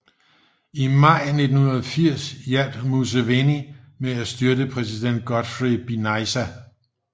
I maj 1980 hjalp Museveni med at styrte præsident Godfrey Binaisa